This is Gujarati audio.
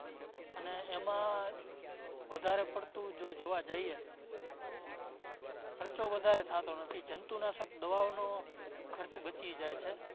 અને એમાં વધારે પડતું જો જોવા જઈએ તો ખર્ચો વધારે થતો નથી. જંતુનાશક દવાઓનો ખર્ચ બચી જાય છે.